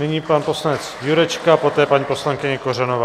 Nyní pan poslanec Jurečka, poté paní poslankyně Kořanová.